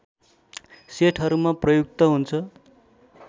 सेटहरूमा प्रयुक्त हुन्छ